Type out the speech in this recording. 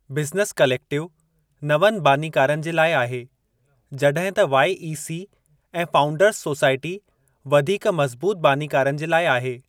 Business collective नवनि बानीकारनि जे लाइ आहे जड॒हिं त वाई.ई.सी. ऐं फाउंडर्स सोसायटी वधीक मज़बूतु बानीकारनि जे लाइ आहे।